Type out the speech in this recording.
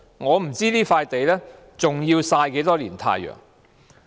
我不知道這塊土地還要曬多少年太陽。